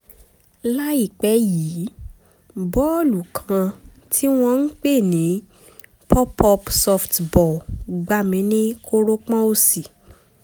láìpẹ́ yìí bọ́ọ̀lù kan tí wọ́n ń pè ní pop-up softball gbá mi ní kórópọ̀n òsì